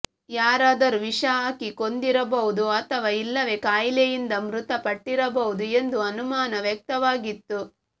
ಯಾರಾದರೂ ವಿಷ ಹಾಕಿ ಕೊಂದಿರಬಹುದು ಅಥವಾ ಇಲ್ಲವೇ ಕಾಯಿಲೆಯಿಂದ ಮೃತಪಟ್ಟಿರಬಹುದು ಎಂದು ಅನುಮಾನ ವ್ಯಕ್ತವಾಗಿತ್ತು